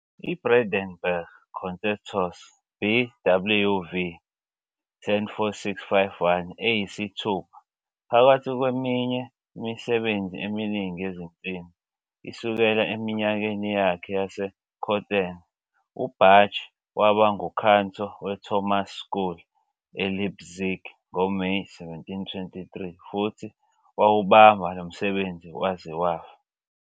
IBrandenburg Concertos, BWV 1046-51, eyisithupha, phakathi kweminye imisebenzi eminingi yezinsimbi, isukela eminyakeni yakhe yaseCöthen. UBach waba nguKantor weThomas School eLeipzig ngoMeyi 1723 futhi wawubamba lo msebenzi waze wafa.